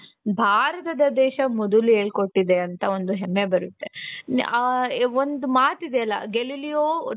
ಭಾರತದ ದೇಶ ಮೊದಲು ಹೇಳ್ಕೊಟ್ಟಿದೆ ಅಂತ ಒಂದು ಹೆಮ್ಮೆ ಬರುತ್ತೆ. ಹ ಒಂದ್ ಮಾತಿದೆಯಲ್ಲಾ galileo.